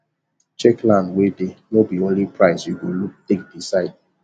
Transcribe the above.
check land wey dey nor be only price you go look take decide